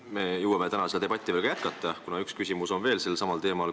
Me jõuame täna seda debatti hiljem jätkata, kuna üks küsimus on veel sellelsamal teemal.